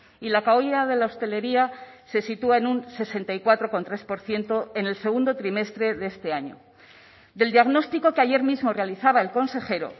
y la caída de la hostelería se sitúa en un sesenta y cuatro coma tres por ciento en el segundo trimestre de este año del diagnóstico que ayer mismo realizaba el consejero